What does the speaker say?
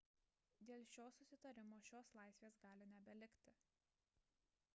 dėl šio susitarimo šios laisvės gali nebelikti